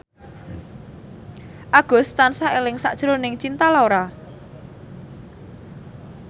Agus tansah eling sakjroning Cinta Laura